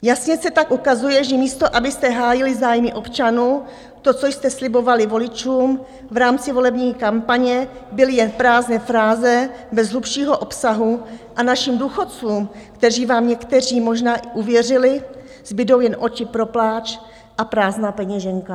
Jasně se tak ukazuje, že místo abyste hájili zájmy občanů, to, co jste slibovali voličům v rámci volební kampaně, byly jen prázdné fráze bez hlubšího obsahu a našim důchodcům, kteří vám někteří možná i uvěřili, zbudou jen oči pro pláč a prázdná peněženka.